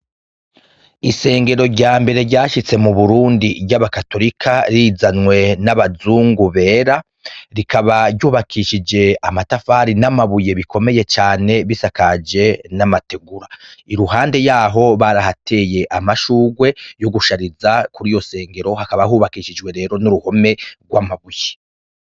Isengero ryambere ryashitse mu Burundi ry'abakatorika rizanywe n'abazungu bera, rikaba ry'ubakishije amatafari n'amabuye bikomeye cane bisakaje n'amategura, iruhande yaho barahateye amashurwe yo gushariza kuri iyo sengero hakaba hubakishijwe n'uruhome rw'amabuye.